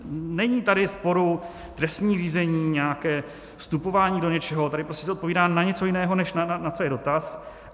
Není tady sporu, trestní řízení nějaké, vstupování do něčeho, tady prostě se odpovídá na něco jiného, než na co je dotaz.